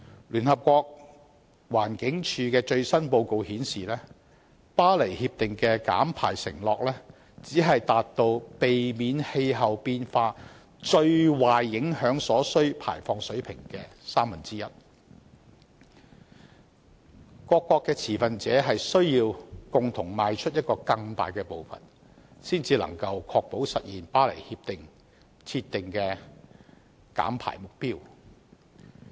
聯合國環境規劃署的最新報告顯示，《巴黎協定》的減排承諾只是達到避免氣候變化最壞影響所需減排水平的三分之一，各持份者需要共同邁出更大的步伐，才能確保實現《協定》設定的減排目標。